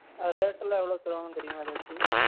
அது rate எல்லாம் எவலோக்கு தருவாங்கனு தெரியுமா எதாச்சு